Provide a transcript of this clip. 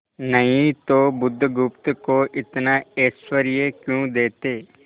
नहीं तो बुधगुप्त को इतना ऐश्वर्य क्यों देते